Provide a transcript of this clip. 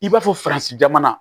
I b'a fɔ jamana